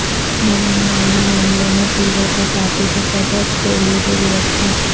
بدعنوانی معاملہ میں پیرو کے سابق صدر ٹولیڈو گرفتار